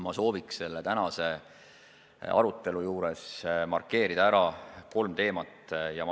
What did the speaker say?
Ma soovin selle tänase arutelu juures markeerida ära kolm teemat.